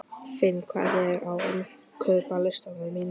Finn, hvað er á innkaupalistanum mínum?